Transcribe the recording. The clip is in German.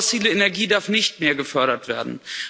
Fossile Energie darf nicht mehr gefördert werden.